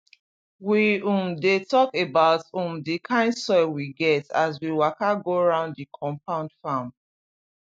we um dey talk about um the kind soil we get as we waka go round the compound farm